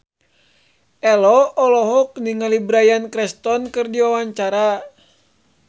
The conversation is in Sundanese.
Ello olohok ningali Bryan Cranston keur diwawancara